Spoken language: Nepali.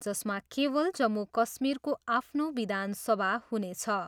जसमा केवल जम्मू कश्मीरको आफ्नो विधान सभा हुनेछ।